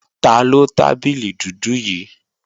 Taló tábìlì dúdú yí